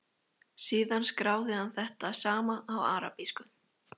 Síðan skráði hann þetta sama á arabísku.